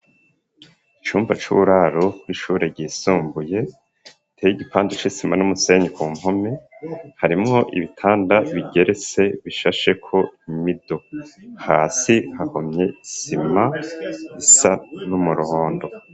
Icumba c'uburaru w'ishure risumbuye iteye igipanda c'isima n'umusenyi ku npome harimwo ibitanda bigerese bishashe ko imido hasi hahomye isima isa n'umuhondo.